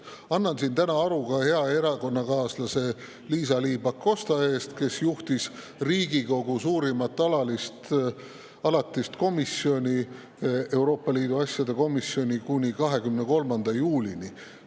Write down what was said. Annan siin aru ka hea erakonnakaaslase Liisa-Ly Pakosta eest, kes juhtis Riigikogu suurimat alatist komisjoni, Euroopa Liidu asjade komisjoni kuni 23. juulini.